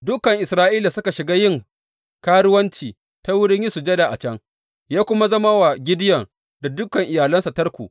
Dukan Isra’ila suka shiga yin karuwanci ta wurin yin sujada a can, ya kuwa zama wa Gideyon da dukan iyalinsa tarko.